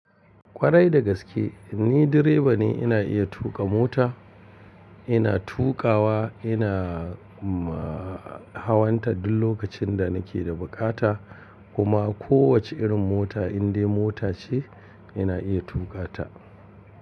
Kwarai da gaske, ni direba ne. Ina iya tuƙa mota. Ina tuƙawa, ina hawan ta duk lokacin da nake da buƙata kuma kowace irin mota indai mota ce ina iya tuƙa ta.